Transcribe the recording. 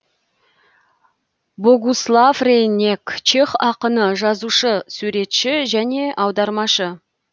богуслав рейнек чех ақыны жазушы суретші және аудармашы